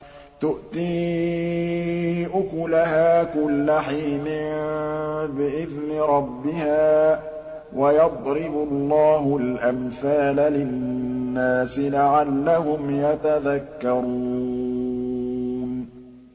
تُؤْتِي أُكُلَهَا كُلَّ حِينٍ بِإِذْنِ رَبِّهَا ۗ وَيَضْرِبُ اللَّهُ الْأَمْثَالَ لِلنَّاسِ لَعَلَّهُمْ يَتَذَكَّرُونَ